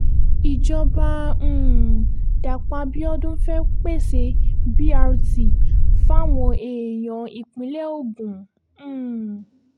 ìjọba um dapò abiodun fee pèsè brt fáwọn èèyàn ìpínlẹ̀ ogun um